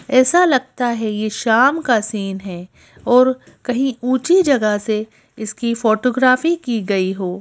ऐसा लगता है यह शाम का सीन है और कहीं ऊंची जगह से इसकी फोटोग्राफी की गई हो।